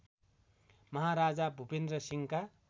महाराजा भूपेन्‍द्र सिंहका